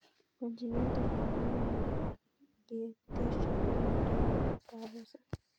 Congenital pulmonary lymphangiectasia ko miondop kapuset